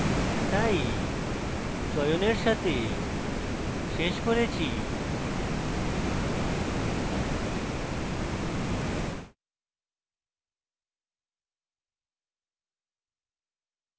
তাই চয়নের সাথে শেষ করেছি